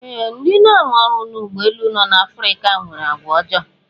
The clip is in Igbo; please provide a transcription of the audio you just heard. Ee, ndị na-arụ ọrụ n'ụgbọ elu no n'Afrika nwere àgwàọjọọ.